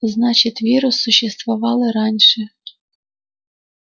значит вирус существовал и раньше